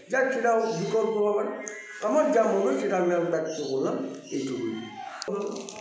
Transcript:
যাক সেটা হলো বিকল্প ব্যাপার আমার যা মনে হয় সেটা আমি ব্যক্ত করলাম এইটুকুই